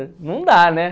Não dá, né?